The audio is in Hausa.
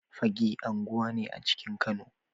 Fagge unguwa ne a cikin Kano